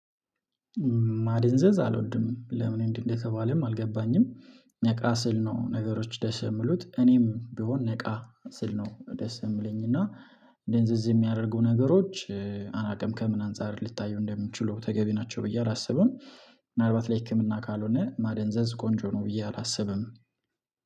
ማደንዘዝ አልወድም ለምን? እንደተባለም አልገባኝም ነቃ ስል ነው። ነገሮች ደስ የምሉት እኔም ቢሆን ነቃ ስል ነው ደስ የሚለኝ እና። ደንዝዝ የሚያደርጉ ነገሮች አናቅም ከምን አንፃር ልታዩ እንደሚችሉ ተገቢ ናቸው ብዬ አላስብም። ምናልባት ለህክምና ካልሆነ ማደንዘዝ ቆንጆ ነው ብዬ አላስብም